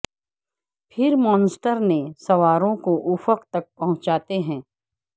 پھر مونسٹر نے سواروں کو افق تک پہنچاتے ہیں